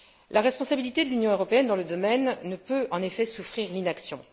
La responsabilité de l'Union européenne dans le domaine ne peut en effet souffrir l'inaction.